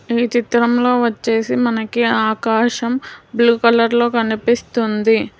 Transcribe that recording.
ఈ చిత్రం లో వచ్చేసి మనకి ఆకాశం బ్లూ కలర్ లో కనిపిస్తుంది.